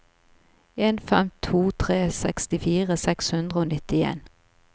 en fem to tre sekstifire seks hundre og nittien